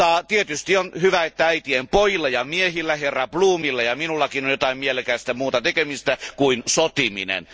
Tietysti on hyvä, että äitien pojilla ja miehillä, herra Bloomilla ja minullakin, on jotain mielekästä muuta tekemistä kuin sotiminen.